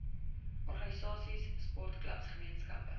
organisasies sportklubs gemeenskappe